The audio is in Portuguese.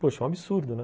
Poxa, é um absurdo, né?